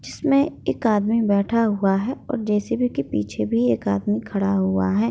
जिसमे एक आदमी बैठा हुआ है और जे.सी.बी. के पीछे भी एक आदमी खड़ा हुआ है।